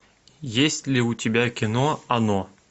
есть ли у тебя кино оно